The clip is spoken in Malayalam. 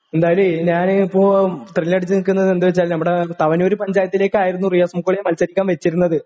എന്തായാലും ഞാന് ഇപ്പോ തെരഞ്ഞെടുത്തു നിൽക്കുന്നത് എന്താന്ന് വെച്ചാല് നമ്മടെ തവനൂര് പഞ്ചായത്തിലേക്കായിരുന്നു റിയാസ് മുക്കോളിയെ മത്സരിക്കാൻ വെച്ചിരുന്നത്.